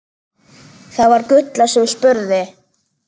Það var Gulla sem spurði.